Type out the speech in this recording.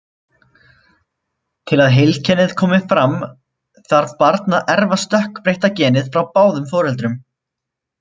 Til að heilkennið komi fram þarf barn að erfa stökkbreytta genið frá báðum foreldrum.